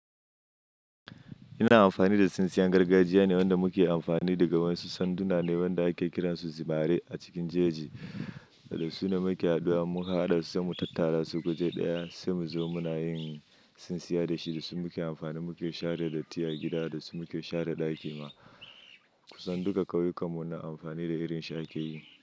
Ina amfani da tsintsiyan gargajiya ne wanda muke amfani da ga wasu sanduna ne wanda ake kira su zimare a cikin jeji da su na muke haduwa muka haɗasu muka tattara su guje ɗaya sai mu zo muna yin tsintsiya da shi da su muke amfani muke share datti a gida da su muke share ɗaki ma. Kusan duka ƙauyukan mu na amfani da irin shaƙi yi.